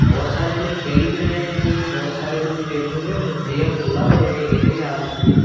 बोहोत सारे जने खेल भी रहे हैं बोहोत सारे जने खेल रहे हैं भैया को बुला लो यहीं खेलेंगे अपन भी।